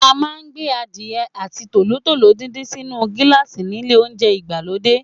A máa ń gbé Adìyẹ àti tòlótòló díndín sínu gíláàsì nílé oúnjẹ ìgbàlódé.